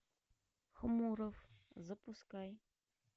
хмуров запускай